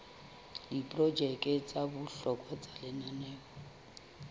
diprojeke tsa bohlokwa tsa lenaneo